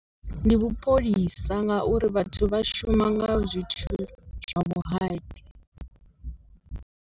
Ndi vhu pholisa ngauri vhathu vha shuma nga zwithu zwa vhuhali.